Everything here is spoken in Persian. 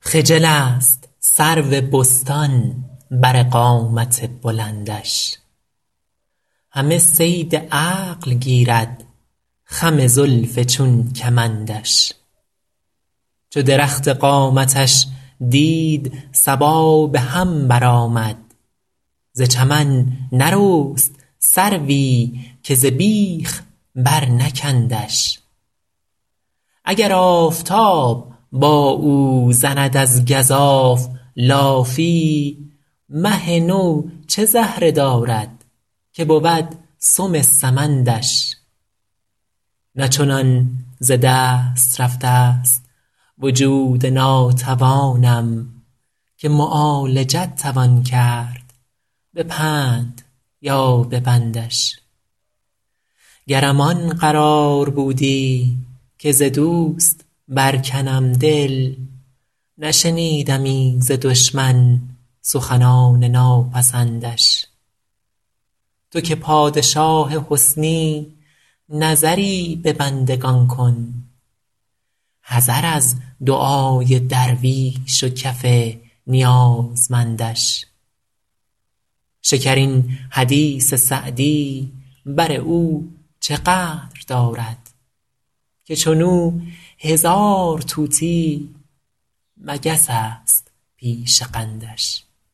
خجل است سرو بستان بر قامت بلندش همه صید عقل گیرد خم زلف چون کمندش چو درخت قامتش دید صبا به هم برآمد ز چمن نرست سروی که ز بیخ برنکندش اگر آفتاب با او زند از گزاف لافی مه نو چه زهره دارد که بود سم سمندش نه چنان ز دست رفته ست وجود ناتوانم که معالجت توان کرد به پند یا به بندش گرم آن قرار بودی که ز دوست برکنم دل نشنیدمی ز دشمن سخنان ناپسندش تو که پادشاه حسنی نظری به بندگان کن حذر از دعای درویش و کف نیازمندش شکرین حدیث سعدی بر او چه قدر دارد که چون او هزار طوطی مگس است پیش قندش